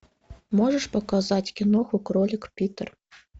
можешь показать киноху кролик питер